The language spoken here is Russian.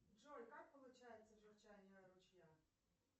джой как получается журчание ручья